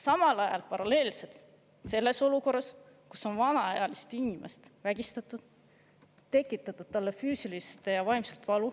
Samal ajal paralleelselt selles olukorras, kus on vanemaealist inimest vägistatud, tekitatud talle füüsilist ja vaimset valu,